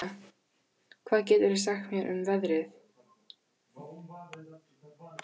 Sesilía, hvað geturðu sagt mér um veðrið?